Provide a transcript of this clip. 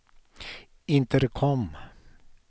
intercom